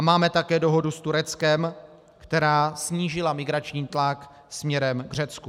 A máme také dohodu s Tureckem, která snížila migrační tlak směrem k Řecku.